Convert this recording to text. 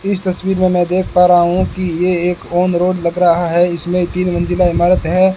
इस तस्वीर में मैं देख पा रहा हूं कि ये एक ऑन रोड लग रहा है। इसमें तीन मंजिला इमारत है।